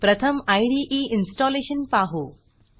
प्रथम इदे इन्स्टॉलेशन पाहू